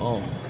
Ɔ